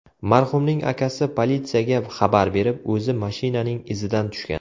Marhumning akasi politsiyaga xabar berib, o‘zi mashinaning izidan tushgan.